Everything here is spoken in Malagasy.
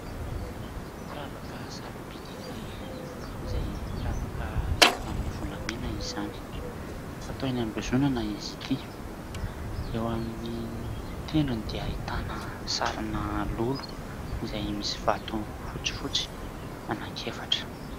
Firavaka sarobidy iray izay firavaka vita avy amin'ny volamena izany. Fatao eny ambozonana izy ity. Eo amin'ny tendrony dia ahitana sarina lolo izay misy vato fotsifotsy anankiefatra.